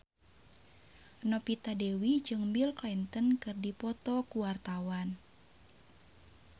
Novita Dewi jeung Bill Clinton keur dipoto ku wartawan